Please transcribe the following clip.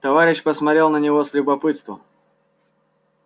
товарищ посмотрел на него с любопытством